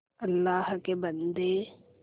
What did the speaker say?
अल्लाह के बन्दे